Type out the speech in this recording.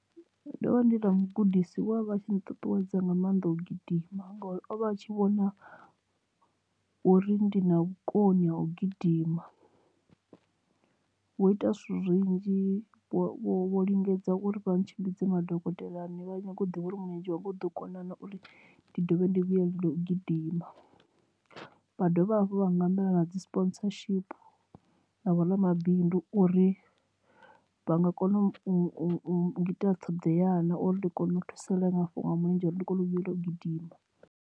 Ndo vha ndi na mugudisi we avha atshi nṱuṱuwedza nga maanḓa u gidima ngori ovha a tshi vhona uri ndi na vhukoni ha u gidima vho ita zwithu zwinzhi vho lingedza uri vha ntshimbidza madokotelani vha nyagi u ḓivha uri mulenzhe wanga u ḓo kona uri ndi dovhe ndi vhuyelele u gidima vha dovha hafhu vha nga humbela na dzi sponsorship na vhoramabindu uri vha nga kona ungita ṱhoḓea na kana uri ndi kone u thusalea mafhungo mulenzhe uri ndi kone u vhuelela u gidima.